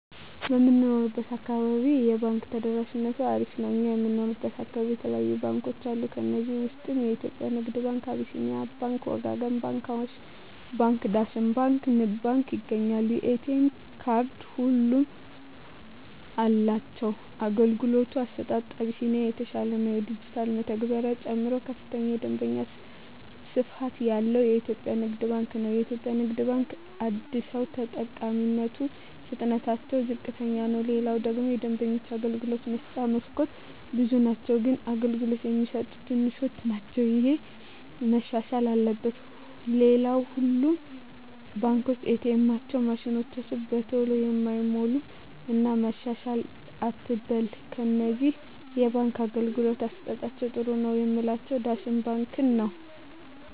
በምንኖረው አካባቢ የባንክ ተደራሽነቱ አሪፍ ነው እኛ የምንኖረው አካባቢ የተለያዩ ባንኮች አሉ ከዚህ ውስጥ የኢትዮጵያ ንግድ ባንክ አቢስኒያ ባንክ ወጋገን ባንክ አዋሽ ባንክ ዳሽን ባንክ ንብ ባንክ ይገኛሉ የኤ.ቴ ካርድ ሁሉም አላቸው የአገልግሎቱ አሰጣጡ አቢስኒያ የተሻለ ነው የዲጅታል መተግበሪያ ጨምሮ ከፍተኛ የደንበኛ ስፋት ያለው ኢትዮጵያ ንግድ ባንክ ነው የኢትዮጵያ ንግድ ባንክ አደሰው ተጠቃሚነቱ ፍጥነትታቸው ዝቅተኛ ነው ሌላው ደግሞ የደንበኞች የአገልግሎት መስጫ መስኮቶች ብዙ ናቸው ግን አገልግሎት የሚሰጡት ትንሾች ናቸው እሄ መሻሻል አለበት ሌላው ሁሉም ባንኮች ኤ. ቴኤማቸው ማሽኖች በተሎ አይሞሉም እና መሻሻል አትበል ከነዚህ የባንክ አገልግሎት አሠጣጣቸዉ ጥሩ ነው ምላቸውን ዳሽን ባንክን ነዉ